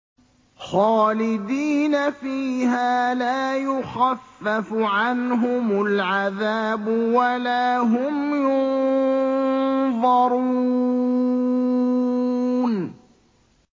خَالِدِينَ فِيهَا لَا يُخَفَّفُ عَنْهُمُ الْعَذَابُ وَلَا هُمْ يُنظَرُونَ